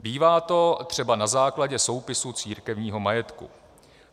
Bývá to třeba na základě soupisu církevního majetku.